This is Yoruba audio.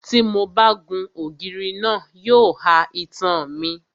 Tí mo bá gun ògiri náà, yóò ha itan mi.